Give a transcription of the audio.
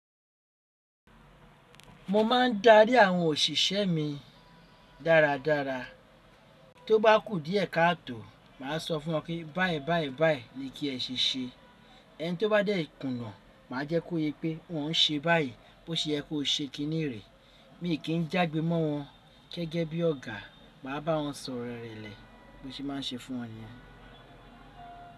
Mo máa ń darí àwọn òṣìṣẹ́ mi dáradára. Tó bá kù díẹ̀ káàtò, màá sọ fún wọn pé báyìí báyìí báyìí ni kí ẹ ṣèṣe. Ẹni tí ó bá dẹ̀kùnà, màá jẹ́ kó yé pé òun ń ṣe báyìí bó ṣe ẹ kó ṣe kiní rèé. Mi kì í jágbe mọ́ wọn gẹ́gẹ́ bí ọ̀gá. Màá bá wọn sọ̀rọ̀ ìrèlè bó ṣe máa ń ṣe fún wọn ni yen.